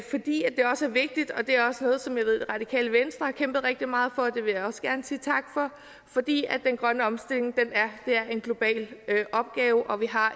også vigtigt det er også noget som jeg ved det radikale venstre har kæmpet rigtig meget for og det vil jeg også gerne sige tak for den grønne omstilling er en global opgave og vi har